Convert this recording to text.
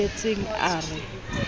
ya o tebetseng a re